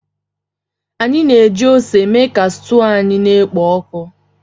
Anyị na-eji ose mee ka stuu anyị na-ekpo oku.